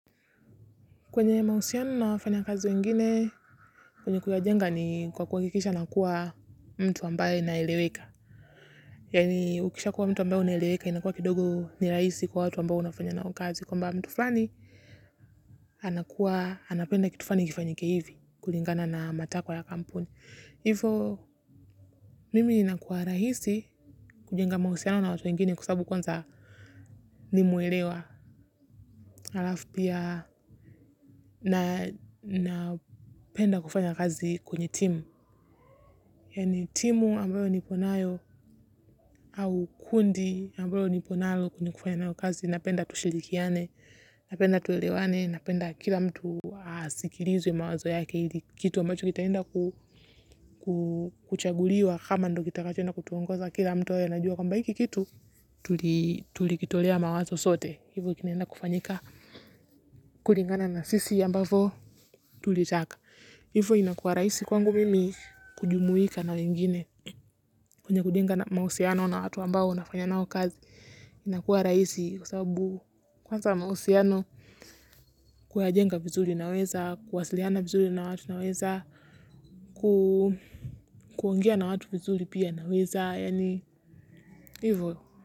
Kwenye mahusiano na wafanyakazi wengine, kwenye kuwajenga ni kwa kuhakikisha nakuwa mtu ambaye naeleweka. Yaani ukisha kuwa mtu ambaye unaeleweka, inakuwa kidogo ni rahisi kwa watu ambao unafanya nao kazi. Kwamba mtu fulani, anakuwa anapenda kitu fulani kifanyike hivi, kulingana na matakwa ya kampuni. Hivo, mimi inakuwa rahisi kujenga mahusiano na watu wengine kwa sababu kwanza nimeelewa. Alafu pia napenda kufanya kazi kwenye timu. Yaani timu ambayo niko nayo au kundi ambayo nipo nalo kwenye kufanya nao kazi napenda tushirikiane, napenda tuelewane, napenda kila mtu asikilizwe mawazo yake ili kitu ambacho kitaenda kuchaguliwa kama ndo kitakacho enda kutuongoza kila mtu awe anajua kwamba hiki kitu, tulikitolea mawazo sote. Hivyo kinaenda kufanyika kulingana na sisi ambavo tulitaka. Hivyo inakuwa rahisi kwangu mimi kujumuika na wengine kwenye kujenga na mahusiano na watu ambao nafanya nao kazi. Inakuwa rahisi kwa sababu kwanza mahusiano kuyajenga vizuri naweza, kuwasiliana vizuri na watu naweza, kuongea na watu vizuri pia naweza yaani. Hivyo.